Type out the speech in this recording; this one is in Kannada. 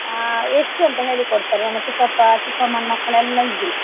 ಅಹ್ ಎಷ್ಟು ಅಂತ ಹೇಳಿ ಕೊಡ್ತಾರೆ ನನ್ನ ಚಿಕ್ಕಪ್ಪ ಚಿಕ್ಕಮ್ಮನ ಮಕ್ಕಳೆಲ್ಲ ಇದ್ರು.